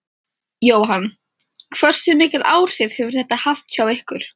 Jóhann: Hversu mikil áhrif hefur þetta haft hjá ykkur?